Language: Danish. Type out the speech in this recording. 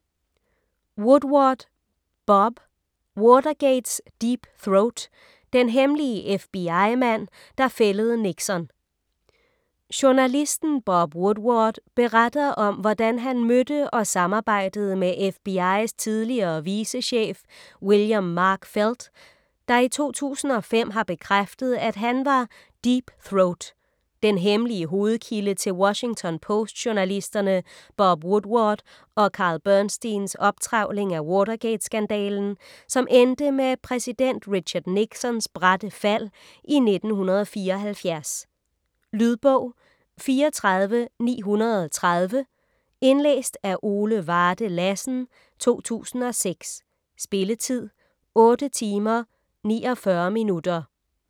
Woodward, Bob: Watergates "Deep Throat": den hemmelige FBI-mand, der fældede Nixon Journalisten Bob Woodward beretter om hvordan han mødte og samarbejdede med FBI's tidligere vicechef William Mark Felt, der i 2005 har bekræftet at han var "Deep Throat", den hemmelige hovedkilde til Washington Post-journalisterne Bob Woodward og Carl Bernsteins optrevling af Watergate-skandalen, som endte med præsident Richard Nixons bratte fald i 1974. Lydbog 34930 Indlæst af Ole Varde Lassen, 2006. Spilletid: 8 timer, 49 minutter.